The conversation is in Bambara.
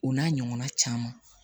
O n'a ɲɔgɔnna caman